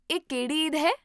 ਇਹ ਕਿਹੜੀ ਈਦ ਹੈ?